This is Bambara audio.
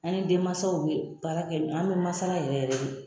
An ni denmansaw bɛ baara kɛ an bɛ masala yɛrɛ yɛrɛ de